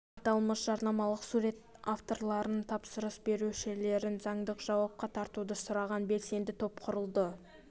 аталмыш жарнамалық сурет авторларын тапсырыс берушілерін заңдық жауапқа тартуды сұраған белсенді топ құрылды